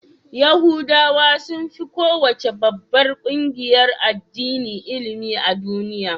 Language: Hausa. Yahudawa sun fi kowace babbar ƙungiyar addini ilimi a duniya.